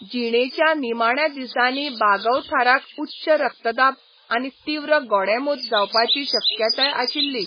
जिणेच्या निमाण्या दिसांनी बागवथाराक उच्च रक्तदाब आनी तीव्र गोडेंमूत जावपाची शक्यताय आशिल्ली.